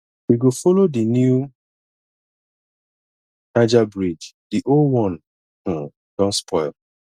we go folo di new niger bridge di old one um don spoil